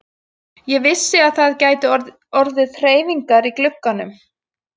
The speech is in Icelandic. Ég vissi að það gætu orðið hreyfingar í glugganum.